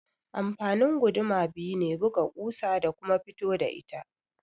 Amfanin guduma biyu ne, buga ƙusa da kuma fito da ita.